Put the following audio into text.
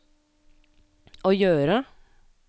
å gjøre